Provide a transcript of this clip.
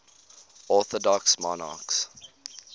orthodox monarchs